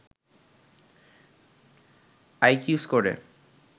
IQ স্কোরে